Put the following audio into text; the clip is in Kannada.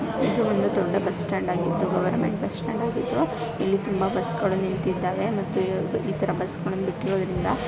ಇದು ಒಂದು ದೊಡ್ಡ ಬಸ್ಟಾಂಡ್ ಆಗಿದ್ದು ಗವರ್ಮೆಂಟ್ ಬಸ್ ಸ್ಟಾಂಡ್ ಆಗಿದ್ದು ಇಲ್ಲಿ ತುಂಬಾ ಬಸ್ಸಗಳು ನಿಂತಿದ್ದಾವೆ ಮತ್ತು ಇತರ ಬಸ್ಸಗಳನ್ನು ಬಿಟ್ಟಿರೋದ್ರಿಂದಾ--